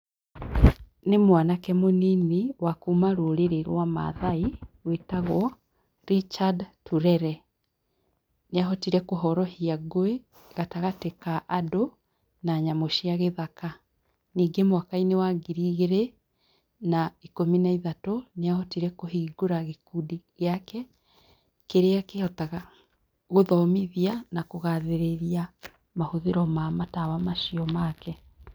Nĩ mwanake mũnini wa kuuma rũrĩrĩ rwa Maathai, wĩtagwo Richard Turere. Nĩahotire kũhorohia ngũĩ, gatagatĩ ka andũ, na nyamũ cia gĩthaka. Ningĩ mwaka-inĩ wa ngiri igĩrĩ na ikũmi na ithatũ, nĩahotire kũhingũra gĩkundi gĩake, kĩrĩa kĩhotaga gũthomithia na kũgathĩrĩria mahũthĩro ma matawa macio make.